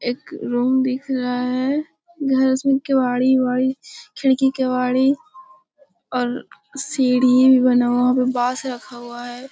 एक रूम दिख रहा है घर का केवाडी-वेवाड़ी खिड़की केवाडी और सीढ़ी भी बना हुआ बांस रखा हुआ है ।